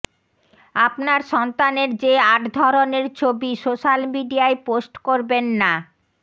আপনার সন্তানের যে আট ধরনের ছবি সোশ্যাল মিডিয়ায় পোস্ট করবেন না